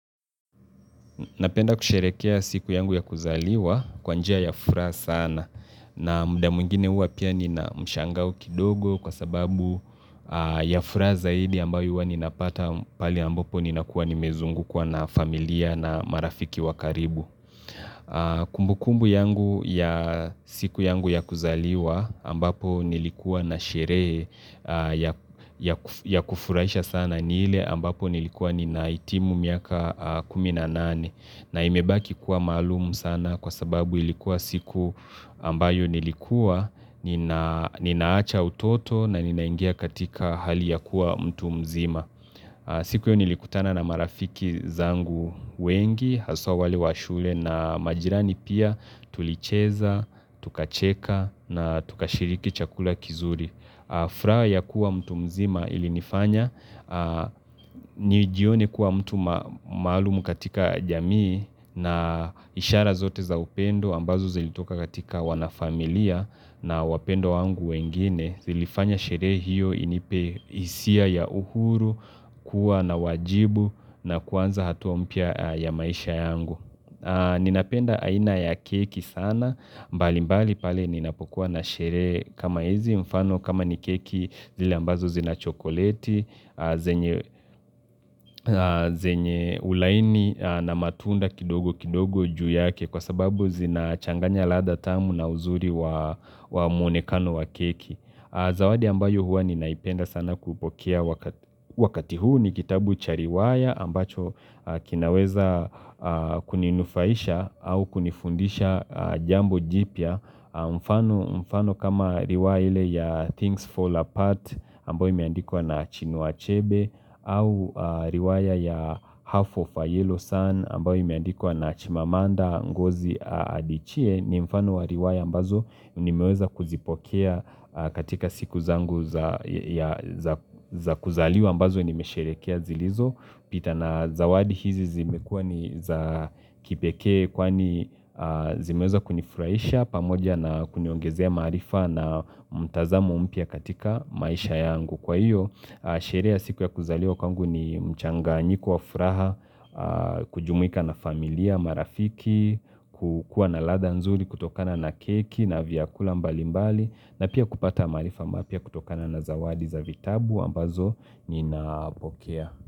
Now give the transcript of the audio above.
Napenda kusherekea siku yangu ya kuzaliwa kwanjia ya furaha sana na mda mwingine hua pia nina mshangao kidogo kwa sababu ya furaa zaidi ambayo ua ninapata pali ambapo ninakuwa nimezungu kwa na familia na marafiki wakaribu. Kumbu kumbu yangu ya siku yangu ya kuzaliwa ambapo nilikuwa na sherehe ya ya kufuraisha sana ni ile ambapo nilikuwa ni naitimu miaka kuminanane na imebaki kuwa maalum sana kwa sababu ilikuwa siku ambayo nilikuwa Nina ninaacha utoto na ninaingia katika hali ya kuwa mtu mzima siku hio nilikutana na marafiki zangu wengi, haswa wale washule na majirani pia tulicheza, tukacheka na tukashiriki chakula kizuri. Furaa ya kuwa mtu mzima ilinifanya, nijione kuwa mtu maalum katika jamii na ishara zote za upendo ambazo zilitoka katika wanafamilia na wapendwa wangu wengine. Zilifanya sherehe hio inipe hisia ya uhuru, kuwa na wajibu na kuanza hatua mpya ya maisha yangu. Ninapenda aina ya keki sana, mbali mbali pale ninapokua na sherehe kama ezi mfano kama ni keki zile ambazo zina chokoleti, zenye zenye ulaini na matunda kidogo kidogo juu yake kwa sababu zina changanya ladha tamu na uzuri wa muonekano wa keki. Zawadi ambayo huwa ninaipenda sana kupokea wakati huu ni kitabu cha riwaya ambacho kinaweza kuninufaisha au kunifundisha jambo jipya. Mfano mfano kama riwaya ile ya things fall apart ambayo imeandikwa na chinua achebe au riwaya ya half of a yellow sun ambayo imeandikwa na chimamanda ngozi adichie ni mfano wa riwaya ambazo ni meweza kuzipokea katika siku zangu za ya za kuzaliwa ambazo nimesherekea zilizo. Pita na zawadi hizi zimekua ni za kipekee kwani zimeweza kunifuraisha pamoja na kuniongezea maarifa na mtazamo mpya katika maisha yangu. Kwa hio, sherehe ya siku ya kuzaliwa kwangu ni mchanganyiko wa furaha, kujumuika na familia, marafiki, kukua na ladha nzuri, kutokana na keki, na vyakula mbali mbali, na pia kupata maarifa mapya kutokana na zawadi za vitabu ambazo ni napokea.